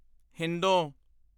ਹਿੰਦੋਂ